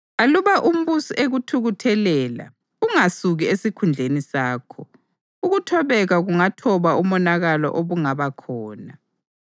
Aluba umbusi ekuthukuthelela, ungasuki esikhundleni sakho; ukuthobeka kungathoba umonakalo obungaba khona.